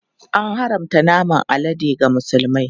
An haramta naman alade ga Musulmai.